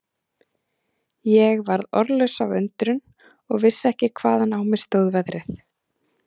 Ég varð orðlaus af undrun og vissi ekki hvaðan á mig stóð veðrið.